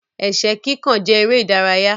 Ẹ̀ṣẹ́ kíkàn jẹ èrè ìdárayá.